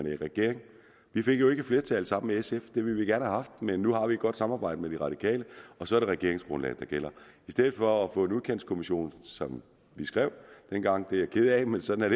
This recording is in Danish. i regering vi fik jo ikke et flertal sammen med sf det ville vi gerne have haft men nu har vi et godt samarbejde med de radikale og så er det regeringsgrundlaget der gælder i stedet for at få en udkantskommission som vi skrev dengang det er jeg ked af men sådan